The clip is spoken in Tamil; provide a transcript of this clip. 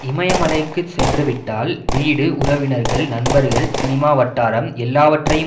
இமயமலைக்கு சென்றுவிட்டால் வீடு உறவினர்கள் நண்பர்கள் சினிமா வட்டாரம் எல்லாவற்றையும்